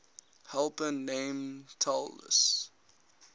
helper named talus